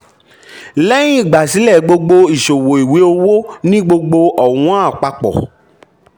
lẹ́hìn ìgbà sílẹ̀ gbogbo ìṣòwò ìwé owó ní gbogbo ọ̀wọ́n àpapọ̀.